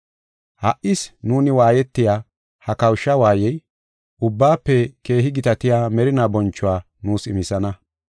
Ha77is nuuni waayetiya ha kawusha waayey, ubbaafe keehi gitatiya merinaa bonchuwa nuus imisana.